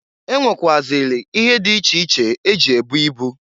E nwekwuazịli ihe dị iche iche eji ebu ibu.